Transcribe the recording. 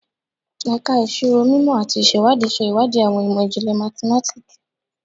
Ẹka Iṣiro Mimọ ati Iṣewadii ṣe iwadii awọn imọ-jinlẹ mathematiki